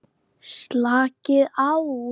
Slakið á.